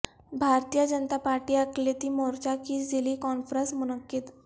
بھارتیہ Janata Party اقلیتی مورچہ کی ضلعی کانفرنس منعقد